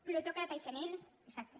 plutòcrata i senil exacte